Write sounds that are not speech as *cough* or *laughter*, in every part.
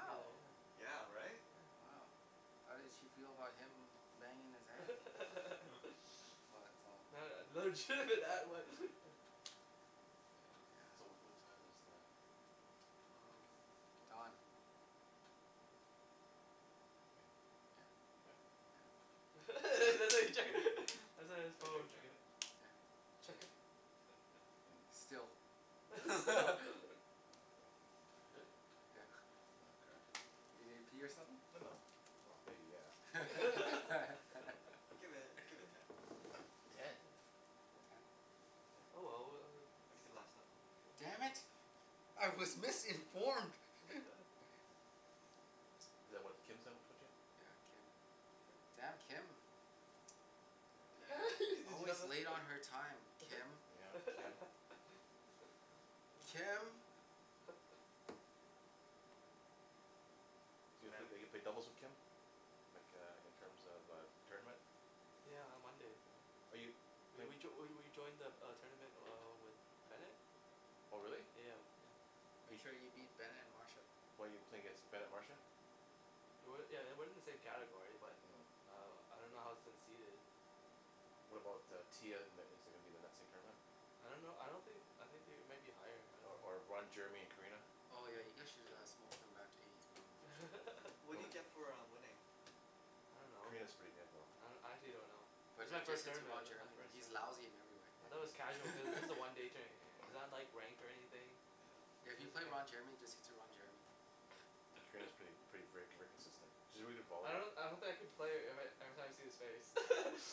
together yeah Yeah right yeah wow how did she feel about him banging his aunt? *laughs* *laughs* *inaudible* *inaudible* that was *noise* *laughs* yeah so yeah what what time is the *noise* hmm I don't Don know In, yeah yeah yeah Hmm *laughs* *laughs* *inaudible* his Are you chec- phone checking it? yeah *inaudible* *noise* still There *laughs* is stop *laughs* Oh okay, really? yeah Oh crap you need to pee or something? No no well No maybe *laughs* yeah yeah *laughs* *laughs* Give it *noise* give it ten Ten? yeah you can Ten oh okay yeah, well we if you uh can last that long damn yeah Mm it I was missing *inaudible* *laughs* *laughs* *noise* Is that what Kim yeah *inaudible* yeah Kim huh damn Kim yeah *laughs* did you always know late on that? her time Kim yeah Kim *laughs* oh Kim *laughs* *noise* So you eve- Demand ever played doubles with Kim? Like uh in terms of uh tournament yeah on Monday right Are you, we playin- we joi- we we we joined the the uh tournament uh with Bennet Oh really yeah yeah Make bef- sure you beat Bennet and Marsha why you playing against Bennet Marsha It wa- yeah it wasn't in the same category but uh I don't know how its seated What about uh Tia in in is it gonna be in the same tournament? I don't know I don't thin- I think they might be higher I Or don't or Ron know Jeremy and Karina Oh yeah you oh guys should uh smoke them back to eighties porno. What No do you one get *laughs* for uh winning? I don't know Karina's pretty good though I do- I actually don' know This But is my ju- just first hit to tournament Ron this is my Jeremy first he's tournament lousy in every I though it was *laughs* casual cuz this way *laughs* a one day tou- tou- it's not ranked or anything yeah yeah Like if you there's a play Ron Jeremy just *inaudible* hit to Ron Jeremy *noise* Karina's prett- *laughs* pretty ver- very consistent she's a very good I volleyball pla- don- I don't think I can play ever- every time I see his face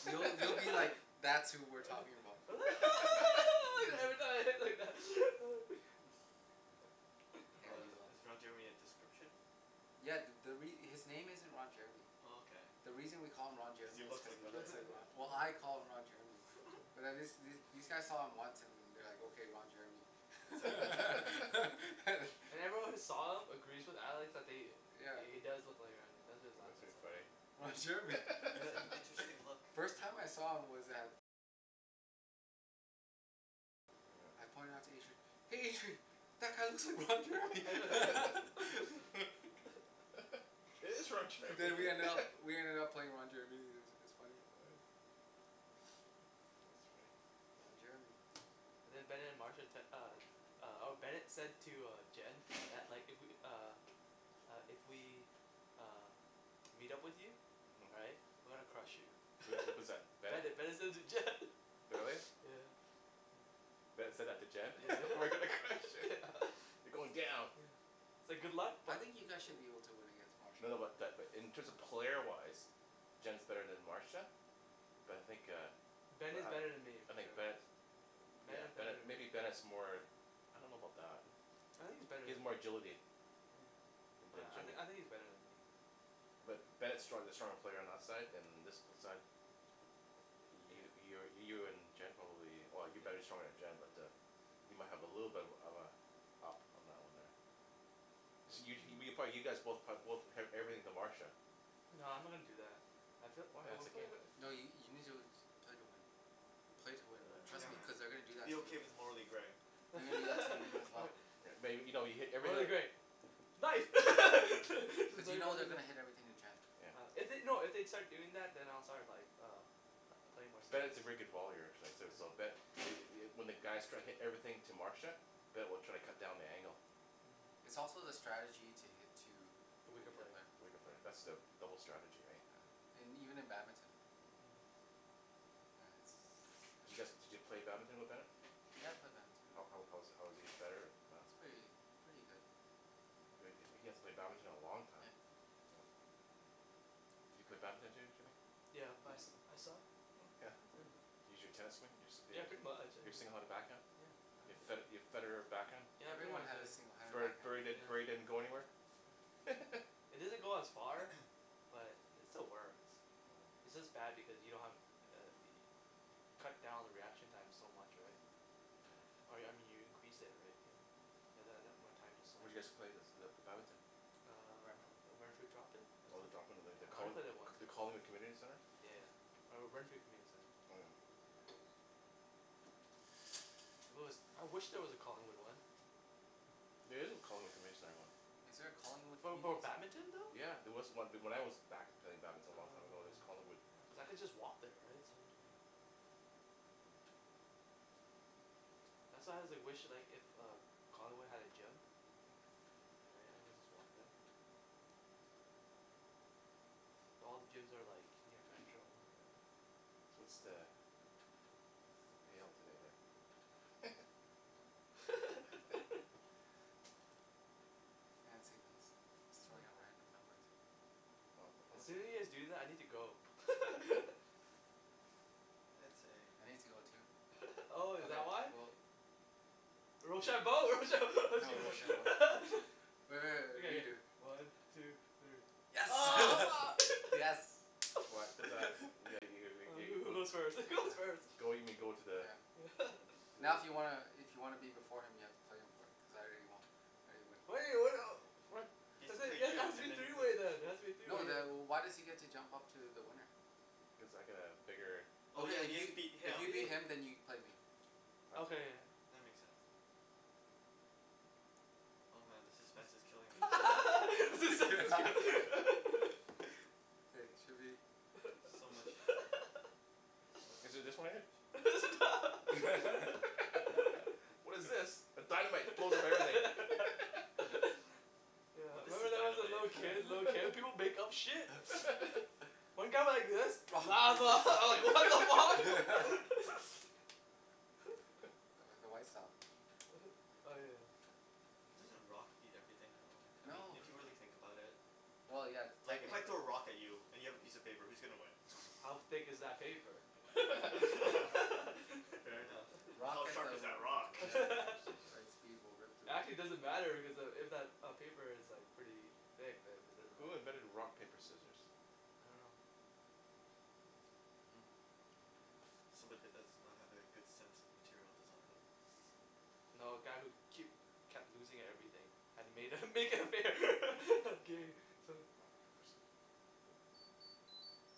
You- you'll be like *laughs* that's who we're talking about uh *laughs* *laughs* *laughs* *inaudible* *laughs* *laughs* yeah Oh is you will *laughs* is Ron Jeremy a description? yeah th- the re- his name isn't Ron Jeremy Oh okay the reason we call him Ron if you Jeremy is look cuz like he Ron looks Jeremy like Ro- well I *laughs* call him Ron Jeremy yeah But wh- these these guys saw him once and they're like okay Ron Jeremy It's like *laughs* *laughs* *laughs* harsh And everyone who saw him agrees with Alex that they yeah he he does look like Ron Je- that's why he was That's laughing pretty funny Oh Ron yeah Jeremy It's an interesting look *laughs* *laughs* First time I saw him was at I pointed it out to Adrian "hey Adrian" That guy looks like Ron Jeremy *laughs* *laughs* *laughs* But we ended up *laughs* we ended up playing Ron Jeremy i- it was funny uh *noise* yeah that's funny Ron Jeremy yeah and then Bennet and Marsha tec- uh uh or Bennet said to uh Jen that like if we uh uh if we um meet up with you right uh-huh we're gonna crush you so was that was that *laughs* Bennet? Bennet Bennet said it to Jen Really? *laughs* yeah yeah Bennet said that to Jen yeah *laughs* we're gonna crush *laughs* yeah it, *laughs* you're going down yeah It's like good luck i- I but think you yeah guys should be able to win against No Marsha no but that in terms of player wise Jen's better then Marsha But I think uh But Bennet's better then me eh I for think sure Bennet's Ben yeah is better Bennet then maybe me Bennet's more I don't know about that I think he's better He has then more me, oh agility yeah Then then I I Jimmy think he's better then me But yeah Bennet's strong- the stronger player on our side and uh this side You you yeah you're you're in Jen probably well you're better yeah stronger then Jen but uh You might have a little bit of uh of uh up on that one there this you you probably you guys both prob- both eve- everything to Marsha No I'm not gonna do that I fee- Why uh that's we the game pla- No you you need to play to win play to win man trust Yeah me man, *noise* cuz they gonna do that be to you okay with the morally gray *laughs* *inaudible* May- maybe you know you hit morally everything gray nice *laughs* to But you know they're to gonna hit *inaudible* everything to Jen yeah If they- no if they'd start doing that then I'll start like uh pl- playing more serious Bennet's a very good volleyer actually so so yeah but it it when the guys try to hit everything to Marsha Ben will try to cut down the angle Hmm But it's also the strategy to hit to the the weaker weaker player player the weaker player that's the yeah double strategy right yeah yeah and even in badminton Mm Does you guys did you play badminton with Bennet? yeah I play badminton How how how was he how was he better or not He's pretty pretty good He he hasn't played badminton in a long time yeah Hmm Do you play badminton Jim- Jimmy Yeah but I su- I suck yeah yeah Can you use your tennis swing yeah pretty much I your single handed back hand uh yeah Your Fed- I Your Federer back hand yeah pretty Everyone much had a yeah singled handed Bur Bur backhand Burry Burry yeah didn't go anywhere yeah *laughs* it doesn't go as far *noise* but it still works Hum its just bad because you don't have uh yo- you cut down the reaction time so much right yeah Or I me- mean you increase it right you you have that that more time to Where swing did you guys play the the badminton Ren- Uh Renfrew drop-in that's Oh the it drop in the yeah the I only Colling- played there once the yeah Collingwood Community Centre yeah yeah *noise* or Renfrew Community I'm Oh gonna yeah close the Centre window If there wa- I wish there was a Collingwood one There is a Collingwood Community Center one Is there a Collingwood For bad- Community Centre? badminton though? Yeah there was on- when I was back play- playing badminton a long time ago Oh there was Collingwood okay yeah cause I could just walk there right so then there yeah yeah that's how why I *noise* wish like if uh Collingwood had a gym Hmm yeah I could just walk there yeah well all the gyms are like near metro or whatever Wa- what's the what's the payout today there? *laughs* *laughs* *inaudible* I'm just throwing hmm out random numbers Not, how As much the soon as you guys do that I need to go *laughs* I'd say I need to go too *laughs* oh is okay that why? we'll Rochambeau, rochambeau. Oh *laughs* rochambeau *laughs* Re- re- okay re- yeah yeah redo one two three oh *laughs* mar yes *laughs* What *noise* what's that? you ga *laughs* you oh ga ga who who go goes first *laughs* who goes first yeah go you mean go to the yeah yeah *laughs* to the Now if you wanna i- if you wanna be before him you have to play him for it because I already wo- I already win *inaudible* *inaudible* He has cuz to play there then it you has to and be then three play way then it has to be a three No way then wh- yeah why does he get to jump up to the winner cuz I got a bigger Oh yeah okay if he has to beat if you him beat him then you can play me I okay go- yeah yeah That makes sense Oh man the suspense is killing me *laughs* ah the suspense *laughs* *laughs* okay should be So much So much Is *laughs* it just one in there *laughs* *inaudible* it's a not *laughs* What is this, *laughs* a dynamite it blows up everything *laughs* *laughs* *laughs* No yeah this is remember that when I was a dynamite little kid little kid *laughs* people make up shit *laughs* one got like this lava *laughs* I was like what the fuck *laughs* *laughs* *laughs* *laughs* no th- the white style uh-huh oh yeah Doesn't rock beat everything though I I mean No if you don't really think know about it well yeah like if I yeah technically throw a rock at you and you have a piece of paper who's gonna win? How thick is that paper *laughs* *laughs* fair enough How rock hit sharp the is ro- that rock? yeah rock, paper, the *laughs* right scissor speed will rip through it, Actually because doesn't matter because uh if if that paper is pretty thick then it doesn't Who matter invented rock yeah paper scissors? I don't know *noise* uh-huh *noise* I don't know Somebody did this does not have a good sense of material design yeah No a guy who keep kep- kept losing at everything had to made uh Oh make it fair *laughs* game so *inaudible*